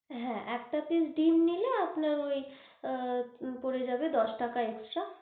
হ্যাঁ, একটা তে ডিম্ নিলে আপনার ওই আ পরে যাবে দশ টাকা extra.